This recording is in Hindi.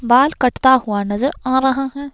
बाल कटता हुआ नजर आ रहा है।